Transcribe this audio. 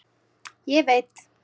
Ég veit